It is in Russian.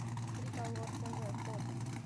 триколор тв фото